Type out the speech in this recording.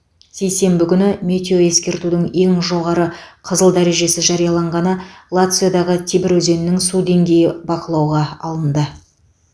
сейсенбі күні метеоескертудің ең жоғары қызыл дәрежесі жарияланғаны лациодағы тибр өзенінің су деңгейі бақылауға алынды